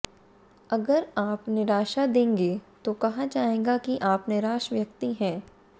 अगर आप निराशा देंगे तो कहा जाएगा कि आप निराश व्यक्ति हैं